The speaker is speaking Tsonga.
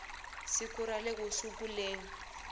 siku ra le ku sunguleni